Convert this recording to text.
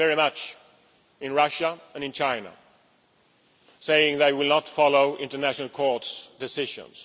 We see this very much in Russia and in China, who say they will not follow international court decisions.